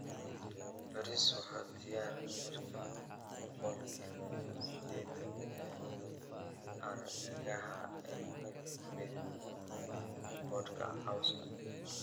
Bariis waa diyaar marka boqolkiba sideetan ee argagaxa ay yihiin midabka boodhka cawska.